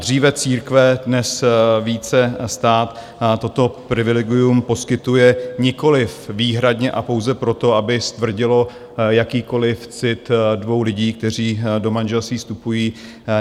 Dříve církve, dnes více stát toto privilegium poskytuje nikoliv výhradně a pouze proto, aby stvrdilo jakýkoliv cit dvou lidí, kteří do manželství vstupují.